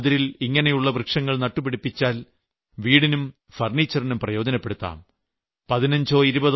നമ്മുടെ വയലിന്റെ അതിരിൽ ഇങ്ങനെയുള്ള വൃക്ഷങ്ങൾ നട്ടുപിടിപ്പിതച്ചാൽ വീടിനും ഫർണിച്ചറിനും പ്രയോജനപ്പെടുത്താം